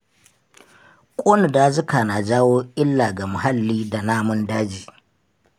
Ƙona dazuka na jawo illa ga muhalli da namun daji.